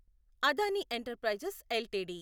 Adani enterprises LTD